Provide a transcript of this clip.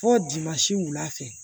Fɔ wulafɛ